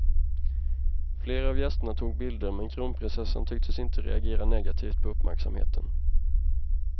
Flera av gästerna tog bilder, men kronprinsessan tycktes inte reagera negativt på uppmärksamheten.